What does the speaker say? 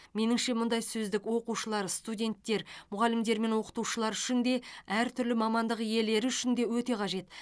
меніңше мұндай сөздік оқушылар студенттер мұғалімдер мен оқытушылар үшін де әртүрлі мамандық иелері үшін де өте қажет